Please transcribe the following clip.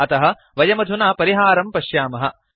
अतः वयमधुना परिहारं पश्यामः